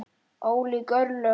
Ólík örlög.